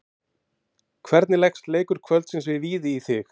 Hvernig leggst leikur kvöldsins gegn Víði í þig?